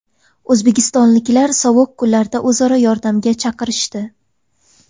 O‘zbekistonliklar sovuq kunlarda o‘zaro yordamga chaqirishdi.